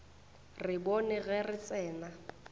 re bone ge re tsena